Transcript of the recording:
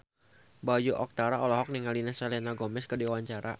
Bayu Octara olohok ningali Selena Gomez keur diwawancara